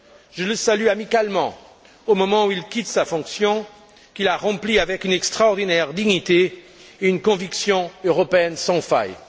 Je le salue amicalement au moment où il quitte sa fonction, qu'il a remplie avec une extraordinaire dignité et une conviction européenne sans faille.